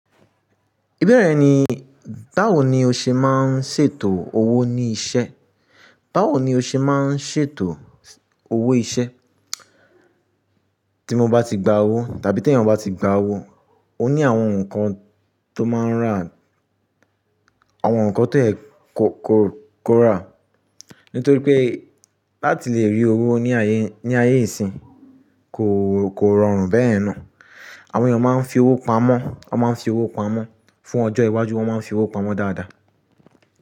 Ìbeẹ́rẹ́ rẹ̀ ni báwo ni o ṣe máa ń ṣètò owó ní ìṣe? Báwo ni o ṣe máa ń ṣètò owó iṣẹ́? Tí mo bá ti gba owó tàbí tí èèyàn bá ti gba owó, ó ní àwọn nǹkan tó máa ń rà, àwọn nǹkan tió yẹ kò, kò, kò rà. Nítorí pé láti lè rí owó ní ayé, ní ayé ìsín kò, kò rọrùn bẹ́yẹ̀n ná. Àwọn èèyàn máa ń fi owó pamọ́, wọ́n máa ń fi owó pamọ́, fún ọjọ́ iwájú wọ́n máa ń fi owó pamọ́ dáadáa.